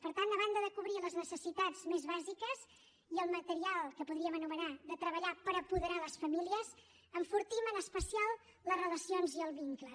per tant a banda de cobrir les necessitats més bàsiques i el material que podríem anomenar de treballar per apoderar les famílies enfortim en especial les relacions i els vincles